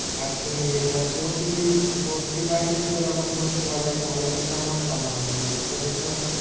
আজকেও নিয়ে যেতে হবে, প্রতিদিন প~ প্রতিবারই যদি ওরকমভাবে বলে তাহলে কিন্তু আমার সম্ভব নয়, বুঝতে পারলি তো?